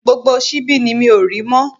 Gbogbo síbi mi ni mi ò rí mọ́